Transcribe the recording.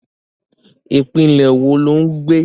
Ìpínlẹ̀ wo lo ń gbé?